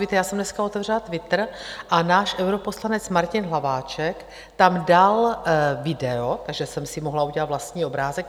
Víte, já jsem dneska otevřela Twitter a náš europoslanec Martin Hlaváček tam dal video, takže jsem si mohla udělat vlastní obrázek.